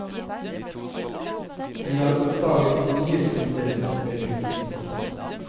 Vi oppdager nye sider ved lutefisken.